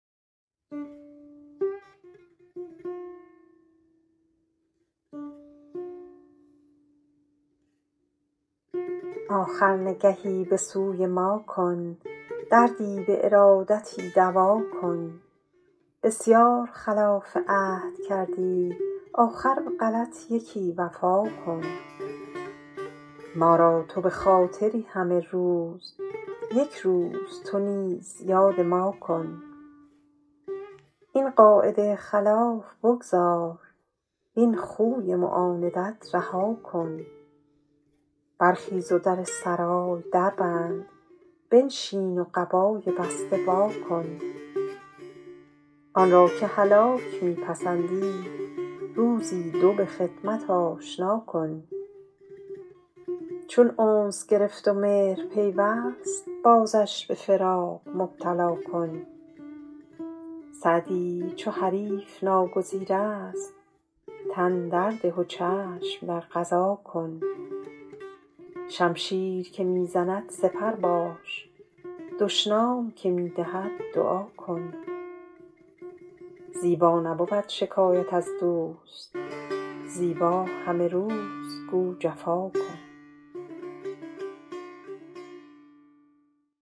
آخر نگهی به سوی ما کن دردی به ارادتی دوا کن بسیار خلاف عهد کردی آخر به غلط یکی وفا کن ما را تو به خاطری همه روز یک روز تو نیز یاد ما کن این قاعده خلاف بگذار وین خوی معاندت رها کن برخیز و در سرای در بند بنشین و قبای بسته وا کن آن را که هلاک می پسندی روزی دو به خدمت آشنا کن چون انس گرفت و مهر پیوست بازش به فراق مبتلا کن سعدی چو حریف ناگزیر است تن در ده و چشم در قضا کن شمشیر که می زند سپر باش دشنام که می دهد دعا کن زیبا نبود شکایت از دوست زیبا همه روز گو جفا کن